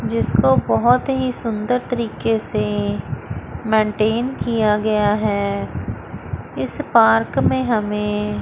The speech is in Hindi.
जिसको बहुत ही सुंदर तरीके से मेंटेन किया गया है इस पार्क में हमें--